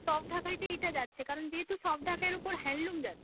soft ঢাকাইতে এইটা যাচ্ছে কারন যেহেতু soft ঢাকাইয়ের ওপর handloom যাচ্ছে।